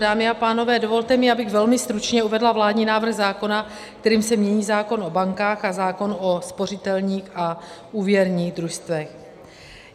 Dámy a pánové, dovolte mi, abych velmi stručně uvedla vládní návrh zákona, kterým se mění zákon o bankách a zákon o spořitelních a úvěrních družstvech.